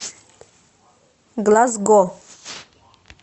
глазго